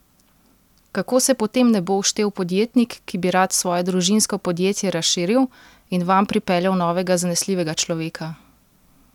Kako se potem ne bo uštel podjetnik, ki bi rad svoje družinsko podjetje razširil in vanj pripeljal novega zanesljivega človeka?